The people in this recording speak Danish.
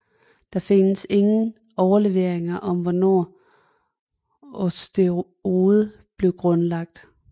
Der findes ingen overleveringer om hvornår Osterode blev grundlagt